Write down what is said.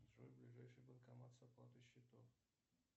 джой ближайший банкомат с оплатой счетов